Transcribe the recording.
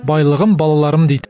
байлығым балаларым дейді